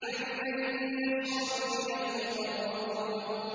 عَيْنًا يَشْرَبُ بِهَا الْمُقَرَّبُونَ